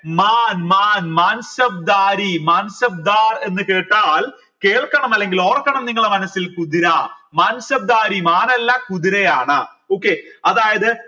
മാൻ മാൻ മാൻ എന്ന് കേട്ടാൽ കേൾക്കണം അല്ലെങ്കിൽ ഓർക്കണം നിങ്ങള മനസ്സിൽ കുതിര മാൻ അല്ല കുതിരയാണ് okay അതായത്